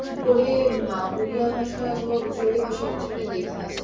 ওপরে হমম উড়িয়া ভাষার অথবা গুজরাটি ভাষার কিছু একটা লেখা আছে ।